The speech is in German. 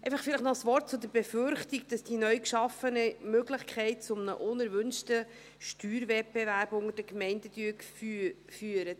Noch ein Wort zur Befürchtung, dass die neu geschaffene Möglichkeit zu einem unerwünschten Steuerwettbewerb zwischen den Gemeinden führt.